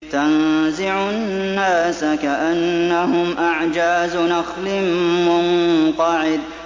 تَنزِعُ النَّاسَ كَأَنَّهُمْ أَعْجَازُ نَخْلٍ مُّنقَعِرٍ